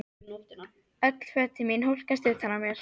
Öll fötin mín hólkast utan á mér!